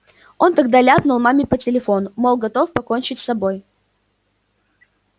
он тогда ляпнул маме по телефону мол готов покончить с собой